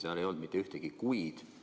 Seal ei olnud mitte ühtegi "kui'd".